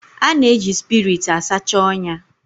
A na-eji spiriit a sacha ọnya